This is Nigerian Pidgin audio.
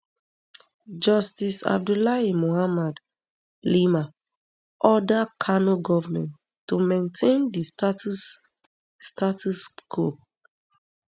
justice abdullahi muhammad liman order kano goment to maintain di status status quo